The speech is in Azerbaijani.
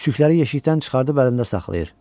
Küçükləri yeşikdən çıxardıb əlində saxlayır.